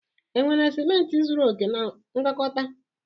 Enwere ciment zuru oke na ngwakọta?